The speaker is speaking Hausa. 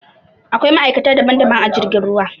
Aƙwai ma'aikata daɓan-daɓan a jirgin ruwa.